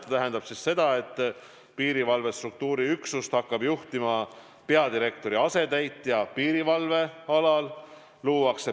See tähendab seda, et piirivalve struktuuriüksust hakkab juhtima peadirektori asetäitja piirivalve alal.